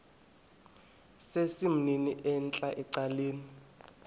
sesimnini entla ecaleni